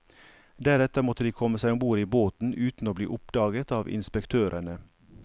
Deretter måtte de komme seg ombord i båten uten å bli oppdaget av inspektørene.